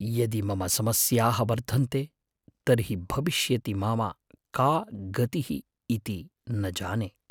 यदि मम समस्याः वर्धन्ते तर्हि भविष्यति मम का गतिः इति न जाने।